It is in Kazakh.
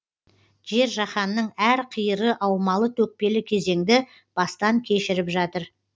жер жаһанның әр қиыры аумалы төкпелі кезеңді бастан кешіріп жатыр